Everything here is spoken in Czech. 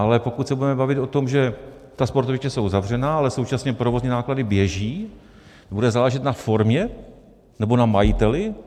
Ale pokud se budeme bavit o tom, že ta sportoviště jsou zavřená, ale současně provozní náklady běží, bude záležet na formě, nebo na majiteli?